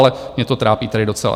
ale mě to trápí tedy docela.